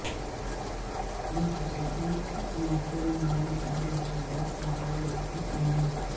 یہ خصوصی موصل مواد اور لچکدار ہیٹر رکھی اندر